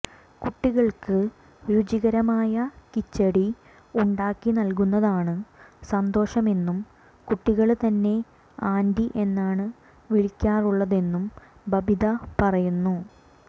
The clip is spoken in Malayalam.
കുട്ടികള്ക്ക് രുചികരമായ കിച്ചടി ഉണ്ടാക്കി നല്കുന്നതാണ് സന്തോഷമെന്നും കുട്ടികള് തന്നെ ആന്റി എന്നാണ് വിളിക്കാറുള്ളതെന്നും ബബിത പറയുന്നു